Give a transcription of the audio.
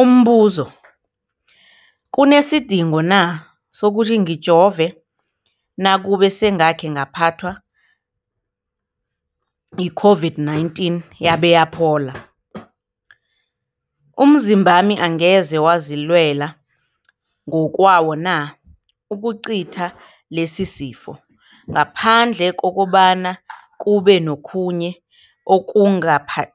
Umbuzo, kunesidingo na sokuthi ngijove nakube sengakhe ngaphathwa yi-COVID-19 yabe yaphola? Umzimbami angeze wazilwela ngokwawo na ukucitha lesisifo, ngaphandle kobana kube nokhunye